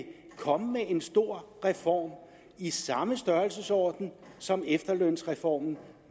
komme med en stor reform i samme størrelsesorden som efterlønsreformen